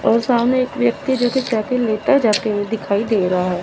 और सामने एक व्यक्ति जो की साइकिल लेता जाते हुए दिखाई दे रहा है।